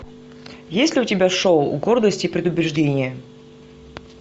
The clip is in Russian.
есть ли у тебя шоу гордость и предубеждение